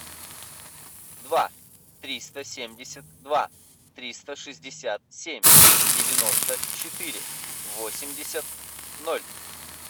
два триста семьдесят два триста шестьдесят семь девяносто четыре восемьдесят ноль